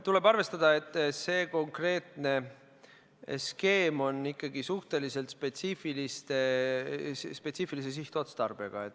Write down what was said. Tuleb arvestada, et see konkreetne skeem on ikkagi suhteliselt spetsiifilise sihtotstarbega.